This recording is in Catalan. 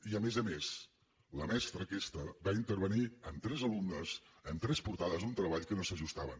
i a més a més la mestra aquesta va intervenir en tres alumnes en tres portades d’un treball que no s’ajustava a